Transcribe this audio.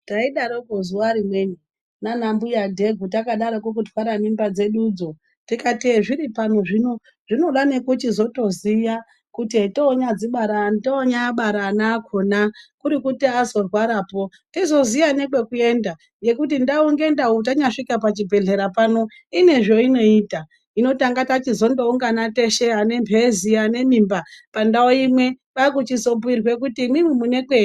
Taidaroko zuva rimweni nana mbuya dhegu takadaroko kutwara mimba dzedudzo. Tikati hezviri pano zvino zvinoda nekuchizotoziya kuti hetonyadzibara hetonyabara ana akona. Kuri kuti azorwarapo tizoziya nekwekuenda nekuti ndau nendau tanyasvika pachibhedhlera pano inezveinoita. Hino tanga tachizondoungana teshe anemhezi ane mimba pandau imwe kwekuchizobhuirwe kuti imwimwi mune kwe.